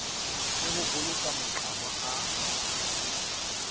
le ho boloka maqhama a